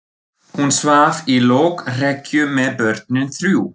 Hún svaf í lokrekkju með börnin þrjú.